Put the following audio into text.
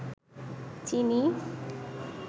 চিনি